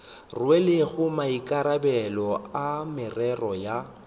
rwelego maikarabelo a merero ya